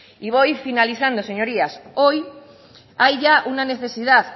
y voy finalizando señorías hoy hay ya una necesidad